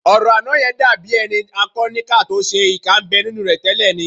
Ọ̀rọ̀ àná yẹn dàbí ẹni a kọ níkà tó ṣe é, ìkà ń bẹ nínú rẹ tẹ́lẹ̀ ni